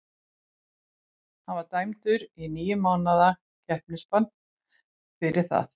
Hann var dæmdur í níu mánaða keppnisbann fyrir það.